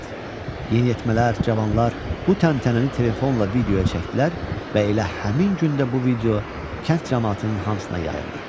Yeniyetmələr, cavanlar bu təntənəni telefonla videoya çəkdilər və elə həmin gün də bu video kənd camaatının hamısına yayıldı.